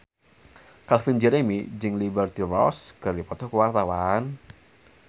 Calvin Jeremy jeung Liberty Ross keur dipoto ku wartawan